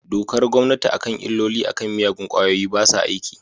Dokar gommanti a kan illolin a kan miyagun kwayoyi basa aiki.